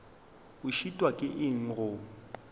o šitwa ke eng go